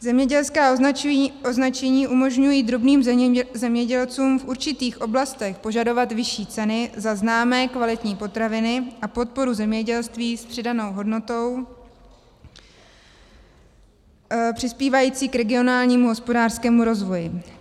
Zemědělská označení umožňují drobným zemědělcům v určitých oblastech požadovat vyšší ceny za známé, kvalitní potraviny a podporu zemědělství s přidanou hodnotou přispívající k regionálnímu hospodářskému rozvoji.